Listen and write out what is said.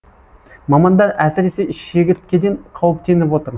мамандар әсіресе шегірткеден қауіптеніп отыр